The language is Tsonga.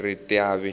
ritavi